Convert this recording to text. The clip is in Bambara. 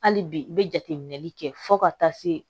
Hali bi i bɛ jateminɛli kɛ fo ka taa se